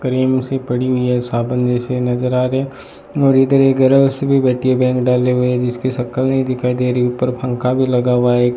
करीम से पड़ी हुई है साबुन जैसे नजर आ रहे और इधर एक घरों सी भी बैठी है बैंक डाले हुए जिनके शक्ल नहीं दिखाई दे रही ऊपर पंखा भी लगा हुआ है।